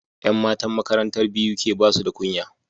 Yan matan makarantar BUK basuda kunya